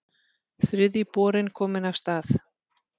Þriðji borinn kominn af stað